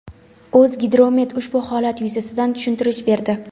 O‘zgidromet ushbu holat yuzasidan tushuntirish berdi.